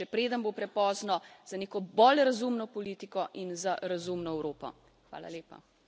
Zato ukrepajte, še preden bo prepozno za neko bolj razumno politiko in za razumno Evropo.